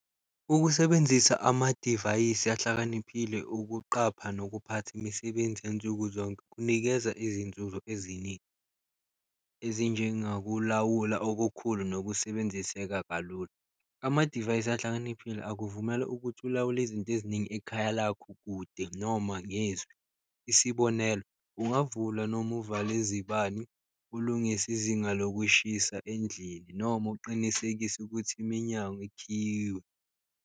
Ukusebenzisa amadivayisi ahlakaniphile ukuqapha nokuphatha imisebenzi yansuku zonke kunikeza izinzuzo eziningi, ezinjengakulawula okukhulu nokusebenziseka kalula. Amadivayisi ahlakaniphile akuvumela ukuthi ulawule izinto eziningi ekhaya lakho kude noma ngezwi isibonelo, ungavula noma uvale izibani, ulungise izinga lokushisa endlini noma uqinisekise ukuthi iminyango ikhiyiwe.